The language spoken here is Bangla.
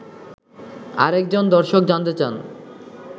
আরেকজন দর্শক জানতে চান